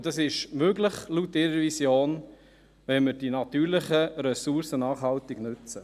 Und das ist laut ihrer Vision möglich, wenn wir die natürlichen Ressourcen nachhaltig nutzen.